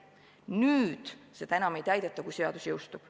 Nüüd seda enam ei täideta, kui seadus jõustub.